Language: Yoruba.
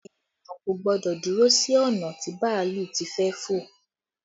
Ènìyàn kò gbọ́dọ̀ dúró sí ọ̀nà tí bàálù ti fẹ́ fò